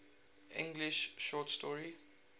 english short story